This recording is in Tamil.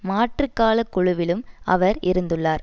மாற்றுக்காலக் குழுவிலும் அவர் இருந்துள்ளார்